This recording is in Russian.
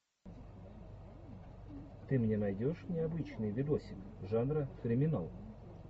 ты мне найдешь необычный видосик жанра криминал